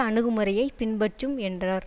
அணுகுமுறையைப் பின்பற்றும் என்றார்